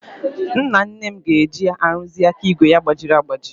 Nnanne m ga-eje ịrụzi aka ígwè ya gbajiri agbaji.